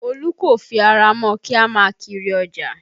Olu kò fi ara mọ́ kí a má a kiri ọjà